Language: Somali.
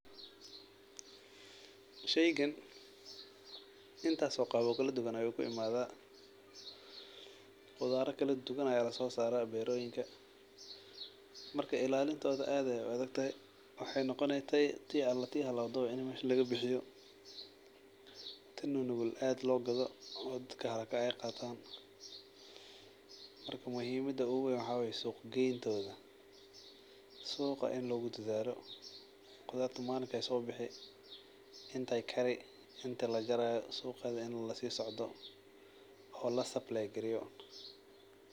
Sheygan intas oo qab oo kala duwan ayu ku imadha qudhaara kala duwan aya laso sara beroyinka marka ilalintodha aad ayey u adagtahay mark maxee noqone ti ala ti halawdawa in mesha laga bixiyo tan nunugul aad lo gado oo dadka haraka ee qatan marka muhimaada ohu wey waa suq gedenta, markaa waa in suqa logu dadhalo intee kara oo la supply gareyo.